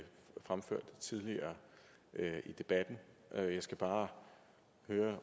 fremført tidligere i debatten jeg skal bare høre